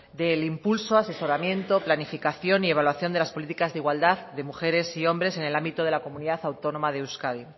del impulso asesoramiento planificación y evaluación de las políticas de igualdad de mujeres y hombres en el ámbito de la comunidad autónoma de euskadi